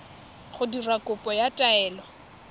go dira kopo ya taelo